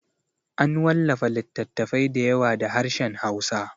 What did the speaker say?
An wallafa littattafai da yawa da harshen hausa